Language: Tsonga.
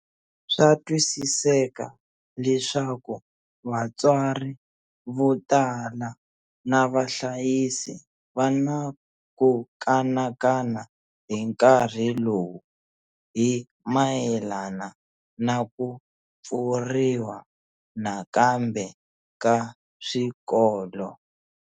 Swa twisiseka leswaku vatswari vo tala na vahlayisi va na ku kanakana hi nkarhi lowu hi mayelana na ku pfuriwa nakambe ka swikolo.